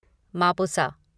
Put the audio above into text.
Mapusa